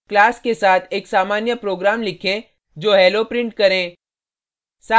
class के साथ एक सामान्य program लिखें जो hello prints करे